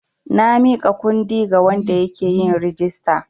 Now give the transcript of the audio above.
Na miƙa kundi ga wanda yake yin rijista.